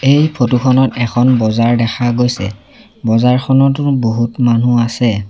এই ফটো খনত এখন বজাৰ দেখা গৈছে বজাৰখনতো বহুত মানুহ আছে।